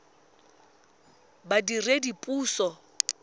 badiredipuso